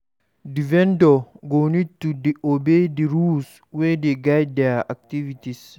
Di vendor go need to obey di rules wey dey guide their activities